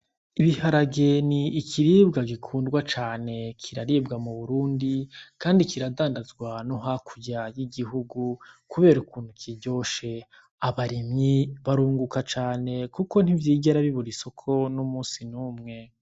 Ibiharage ni ikiribwa gikundwa cane, kiribwa mu Burundi kandi kiradandazwa no hakurya y'igihugu kubera ukuntu kiryoshe. Abarimyi barunguka cane kuko ntivyigera bibura isuko n'umusi n'umwe.